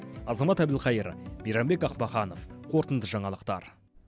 азамат әбілқайыр мейрамбек ахмаханов қорытынды жаңалықтар